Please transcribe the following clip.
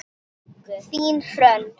Þín Hrönn.